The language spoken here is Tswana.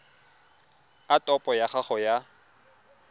a topo ya gago ya